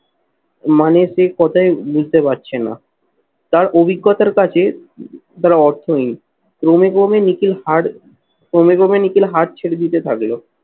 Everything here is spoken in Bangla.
মানে সেই কথায় বুঝতে পারছে না। তার অভিজ্ঞতার কাছে তারা অর্থ হীন। ক্রমে ক্রমে নিখিল হার ক্রমে ক্রমে নিখিল হাল ছেড়ে দিতে থাকলো।